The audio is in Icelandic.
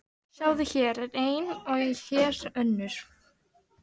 Sjáðu, hér er ein og hér er önnur.